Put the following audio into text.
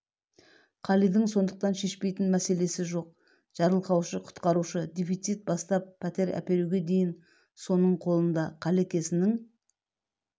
қалидың сондықтан шешпейтін мәселесі жоқ жарылқаушы құтқарушы дефицит бастап пәтер әперуге дейін соның қолында қалекесінің